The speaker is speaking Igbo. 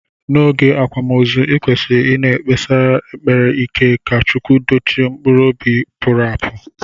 Na oge akwamozu ikwesiri ina ekpesi ekpere ike ka chukwu dochie mkpụrụ ọbi puru apu.